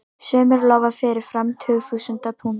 Sumir lofa fyrirfram tugþúsundum punda.